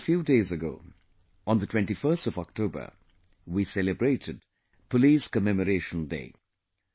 just a few days ago, on the 21st of October, we celebrated Police Commemoration Day